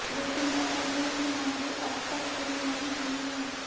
लेकिन व्यापारियों की मांगे अब तक पूरी नहीं हुई है